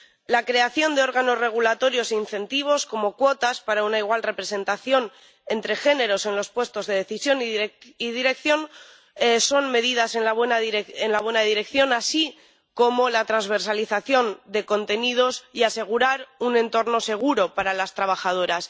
La creación de órganos regulatorios e incentivos, como cuotas, para una igual representación de género en los puestos de decisión y dirección son medidas en la buena dirección, así como la transversalización de contenidos y asegurar un entorno seguro para las trabajadoras.